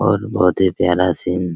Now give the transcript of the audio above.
और बहुत ही प्यारा सीन --